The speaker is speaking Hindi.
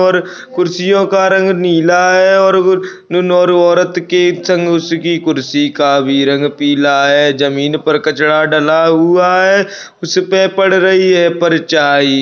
और कुर्सियों का रंग नीला है और वो नोर औरत के उसकी कुर्सी का भी रंग पीला है ज़मीन पर कचड़ा डाला हुआ है उसपे पड़ रही है परछाई ।